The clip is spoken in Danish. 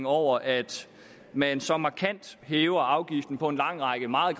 over at man så markant hæver afgiften på en lang række meget